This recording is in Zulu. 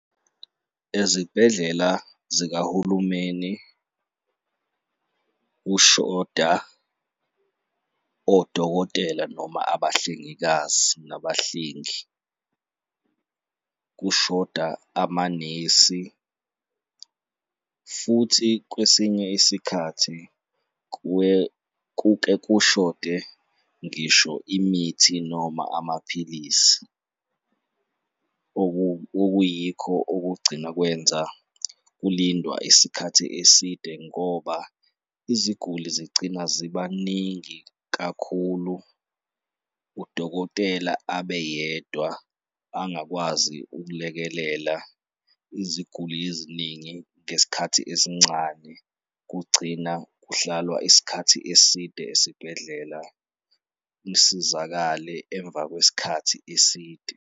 Ezibhedlela zikahulumeni kushoda odokotela noma abahlengikazi nabahlengi, kushoda amanesi futhi kwesinye isikhathi kuke kushode ngisho imithi noma amaphilisi, okuyikho kugcina kwenza kulindwa isikhathi eside ngoba iziguli zigcina zibaningi kakhulu, udokotela abe yedwa, angakwazi ukulekelela iziguli eziningi ngesikhathi esincane kugcina kuhlalwa isikhathi eside esibhedlela, usizakale emva kwesikhathi eside.